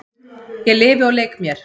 Ég lifi og leik mér.